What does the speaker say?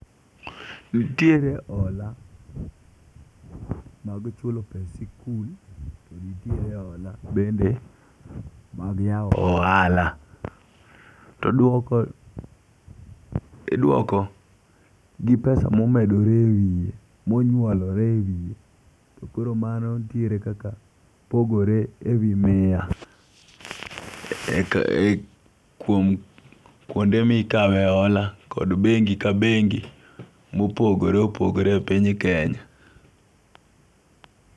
Nitiere hola mag chulo pes sikul to nitiere hola bende mag yawo ohala. Oduoko iduoko g pesa momedore e wiye monyuolore ewiye to .Koro mano ntiere kaka pogore e wi miya e kuom kuonde mikawe hola kod bengi ka bengi mopogore opogore e piny Kenya.